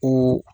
Ko